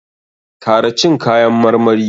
Kara cin kayan marmari!